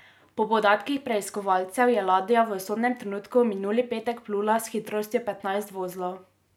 Po podatkih preiskovalcev je ladja v usodnem trenutku minuli petek plula s hitrostjo petnajst vozlov.